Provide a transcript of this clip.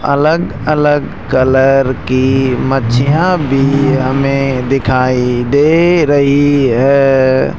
अलग-अलग कलर की मच्छियां भी हमें दिखाई दे रही है।